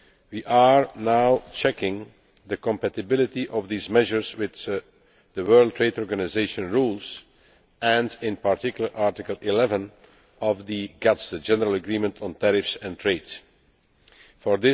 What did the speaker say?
We are now checking the compatibility of these measures with the World Trade Organisation rules and, in particular, Article 11 of the General Agreement on Tariffs and Trade For